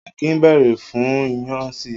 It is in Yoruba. Akin bèrè fún iyán si.